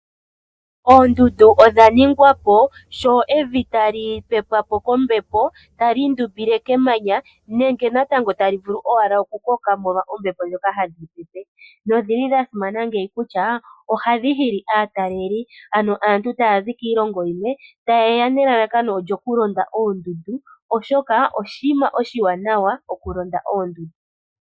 Oondundu odha ningwa po sho evi tali pepwa po kombepo tali indumbile kemanya nenge natango tali vulu owala okukoka molwa ombepo ndhoka hadhi pepe nodhili dhasimana ngeyi kutya ohadhi hili aataleli ano aantu taya zi kiilongo yimwe ta yeya okulonda oondundu oshoka oshinima oshiwanawa okulonda oodundu.